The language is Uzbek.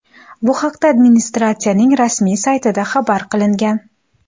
Bu haqda administratsiyaning rasmiy saytida xabar qilingan .